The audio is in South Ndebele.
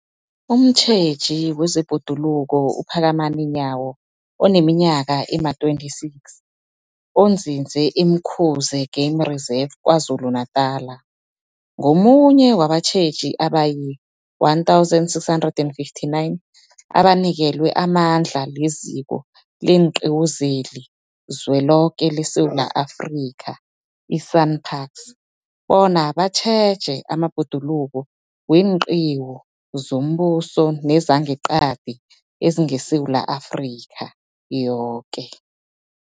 Umtjheji wezeBhoduluko uPhakamani Nyawo oneminyaka ema-26, onzinze e-Umkhuze Game Reserve KwaZulu-Natala, ungomunye wabatjheji abayi-1 659 abanikelwe amandla liZiko leenQiwu zeliZweloke leSewula Afrika, i-SANParks, bona batjheje amabhoduluko weenqiwu zombuso nezangeqadi ezingeSewula Afrika yoke.